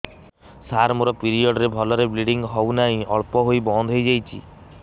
ସାର ମୋର ପିରିଅଡ଼ ରେ ଭଲରେ ବ୍ଲିଡ଼ିଙ୍ଗ ହଉନାହିଁ ଅଳ୍ପ ହୋଇ ବନ୍ଦ ହୋଇଯାଉଛି